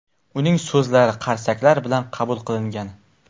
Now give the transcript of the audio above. Uning so‘zlari qarsaklar bilan qabul qilingan.